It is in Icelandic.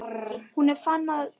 En hún fann að hann var breyttur.